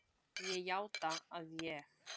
Ég játa að ég